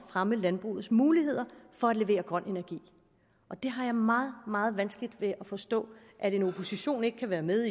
fremme landbrugets muligheder for at levere grøn energi og det har jeg meget meget vanskeligt ved at forstå at en opposition ikke kan være med